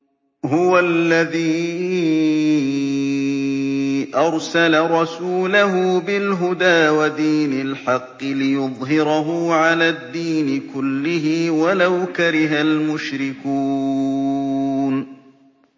هُوَ الَّذِي أَرْسَلَ رَسُولَهُ بِالْهُدَىٰ وَدِينِ الْحَقِّ لِيُظْهِرَهُ عَلَى الدِّينِ كُلِّهِ وَلَوْ كَرِهَ الْمُشْرِكُونَ